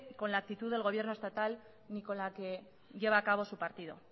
con la actitud del gobierno estatal ni con la que lleva a cabo su partido